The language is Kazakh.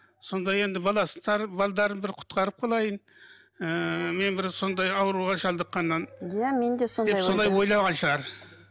сонда енді бір құтқарып қалайын ыыы мен бір сондай ауруға шалдыққаннан иә мен де сондай деп ойлаған шығар